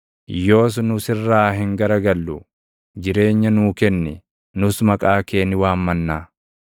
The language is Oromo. Yoos nu sirraa hin garagallu; jireenya nuu kenni; nus maqaa kee ni waammannaa.